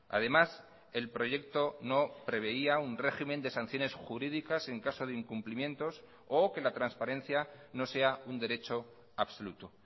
además el proyecto no preveía un régimen de sanciones jurídicas en caso de incumplimientos o que la transparencia no sea un derecho absoluto